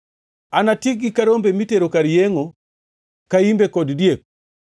“Anatiekgi ka rombe mitero kar yengʼo, ka imbe kod diek.